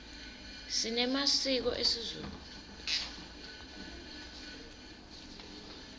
sinemasiko esizulu